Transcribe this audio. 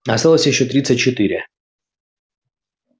осталось ещё тридцать четыре